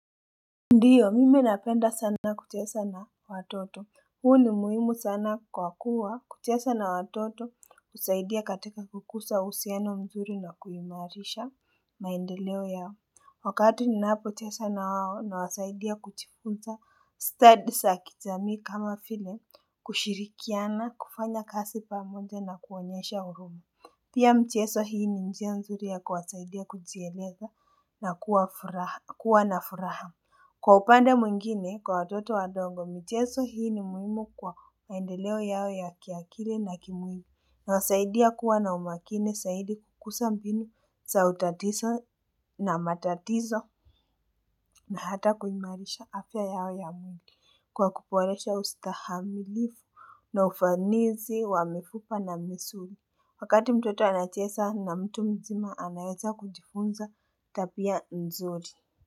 Ndiyo mimi napenda sana kucheza na watoto huu ni muhimu sana kwa kuwa kuchesa na watoto husaidia katika kukuza uhsiano mzuri na kuimarisha maendeleo yao wakati ninapocheza na wao nawasaidia kuchifunza stadi za kijamii kama vile kushirikiana kufanya kazi pamoja na kuonyesha huruma Pia mchezo hii ni njia nzuri ya kuwasaidia kujieleza na kuwa na furaha. Kwa upande mwingine, kwa watoto wadogo, mchezo hii ni muhimu kwa maendeleo yao ya kiakili na kimwili. Nawasaidia kuwa na umakini, zaidi kukuza mbinu, za utatizo na matatizo na hata kuimarisha afya yao ya mwili. Kwa kuboresha ustahamilifu na ufanisi wa mifupa na misuli. Wakati mtoto anacheza na mtu mzima anaeza kujifunza tabia nzuri.